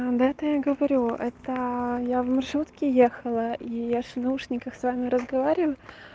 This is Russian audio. да это я говорю это я в маршрутке ехала и я же в наушниках с вами разговариваю